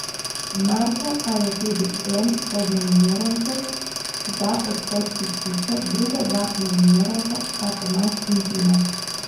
Marko pa je tudi en od nominirancev za odhod iz hiše, druga dva nominiranca sta Tomaž in Tina.